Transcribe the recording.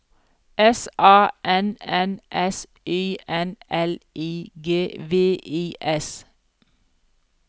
S A N N S Y N L I G V I S